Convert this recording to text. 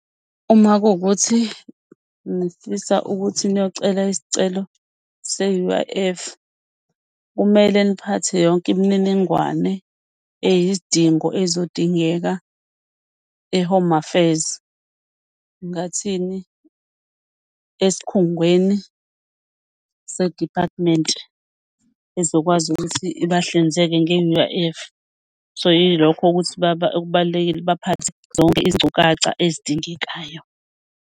Uma kuwukuthi nifisa ukuthi niyocela isicelo se-U_I_F kumele niphathe yonke imininingwane eyizidingo ezodingeka eHome Affairs, ngingathini, esikhungweni se-department ezokwazi ukuthi ibahlinzeke nge-U_I_F. So, yilokho ukuthi okubalulekile ukuthi baphathe zonke izinkcukacha ezidingekayo.